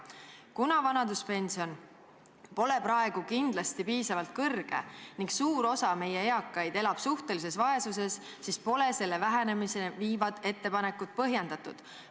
Kuna vanaduspension pole praegu kindlasti piisavalt kõrge ning suur osa meie eakaid elab suhtelises vaesuses, siis pole selle vähenemiseni viivad ettepanekud põhjendatud.